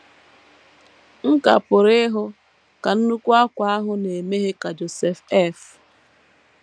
M ka pụrụ ịhụ ka nnukwu ákwà ahụ na - emeghe ka Joseph F.